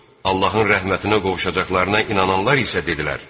Allahın rəhmətinə qovuşacaqlarına inananlar isə dedilər: